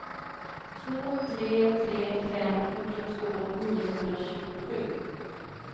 två tre tre fem fyrtiotvå niohundratjugosju